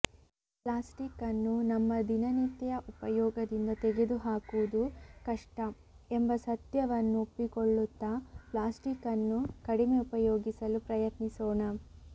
plastic ನ್ನು ನಮ್ಮ ದಿನನಿತ್ಯ ಉಪಯೋಗದಿಂದ ತೆಗೆದುಹಾಕುವುದು ಕಷ್ಟ ಎಂಬ ಸತ್ಯವನ್ನು ಒಪ್ಪಿಕೊಳ್ಳುತ್ತಾ ಪ್ಲಾಸ್ಟಿಕ್ ನ್ನು ಕಡಿಮೆ ಉಪಯೋಗಿಸಲು ಪ್ರಯತ್ನಿಸೋಣ